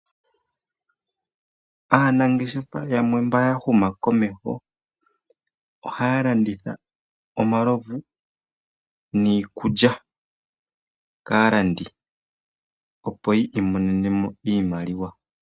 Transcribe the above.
Aanageshefa yamwe mboya huma komeho ohaya landitha omalovu niikulya kalandi ,opo yimonene mo iimaliwa.